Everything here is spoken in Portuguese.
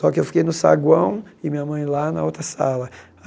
Só que eu fiquei no saguão e minha mãe lá na outra sala.